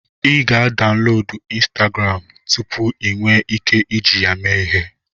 Ị ga-adaunlodu ịnstagram tụpụ ị nwe ike iji ya mee ihe